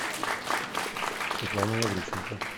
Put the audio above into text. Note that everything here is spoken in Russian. светлана лавриченко